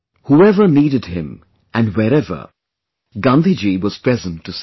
Whoever, needed him, and wherever, Gandhiji was present to serve